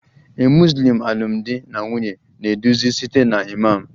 A Muslim alụmdi na nwunye na-eduzi site na imam